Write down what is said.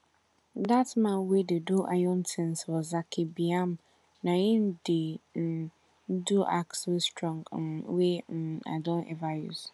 dat man wey dey do iron tins for zaki biam na em dey um do axe wey strong um wey um i don ever use